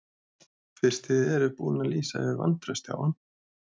Fyrst þið eruð búin að lýsa yfir vantrausti á hann?